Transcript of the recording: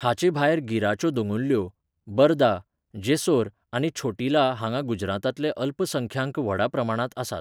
हाचेभायर गिराच्यो दोंगुल्ल्यो, बरदा, जेसोर आनी छोटिला हांगां गुजरातांतले अल्पसंख्यांक व्हडा प्रमाणांत आसात.